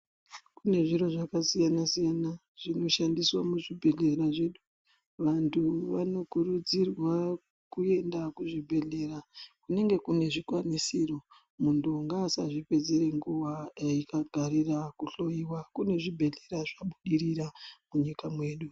Kune zviro zvakasiyana siyana zvinoshandiswa muzvibhedhleya zvedu , vantu vanokurudzirwa kuenda kuzvibhadhleya kunenge kune zvikwanisiro , muntu ngaasa zvipedzere nguwa eigarira kuhloiwa kune zvibhedhlera zvabudirira munyika yedu